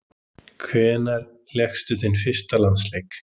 Hvenær lékstu þinn fyrsta landsleik?